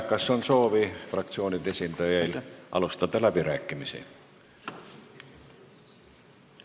Kas fraktsioonide esindajail on soovi alustada läbirääkimisi?